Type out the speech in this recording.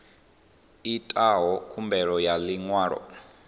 itaho khumbelo ya ḽi ṅwalo